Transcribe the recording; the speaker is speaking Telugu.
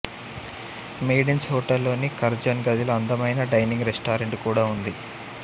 మెయిడిన్స్ హోటల్లోని కర్జన్ గదిలో అందమైన డైనింగ్ రెస్టారెంట్ కూడా ఉంది